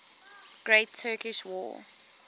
great turkish war